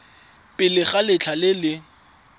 pele ga letlha le le